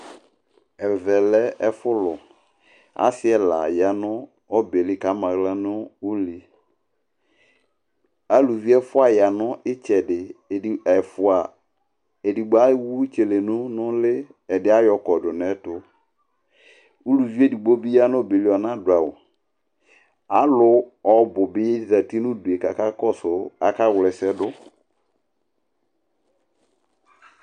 ɛvɛlé ɛfulụ ɑsi ɛlɑyɑɲọbɛli ɑmɑhlɑ ɲụ ʊli ɑlụvi ɛfụɑyɑ ɲitsɛɗi ɛɗgbó ɛfụɑ ɛɗigbó ɛwũ tsélɛɲu ɲuli ɛɗiɑyọkɔɗũ ɲɛtũ ũlụviɛɗigbọ bi yɑɲọbɛli ɔɲɑɗụɑwũ ɑlụ ọbũbi zɑti ɲụḍụaɛ kɑkɑ kɔsụ ɑkɑwlɛsɛɗụ